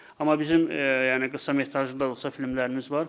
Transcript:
Amma bizim yəni qısa metrajlı da olsa filmlərimiz var.